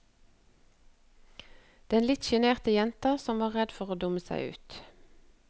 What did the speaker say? Den litt sjenerte jenta, som er redd for å dumme seg ut.